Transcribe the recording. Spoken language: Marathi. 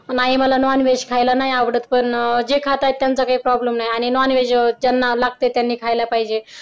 नाही मला नॉनव्हेज खायला नाही आवडत पण अह जे खात आहेत त्यांचा काय problem नाही आणि नॉनव्हेज त्यांना लागतय त्यांनी खायला पाहिजे.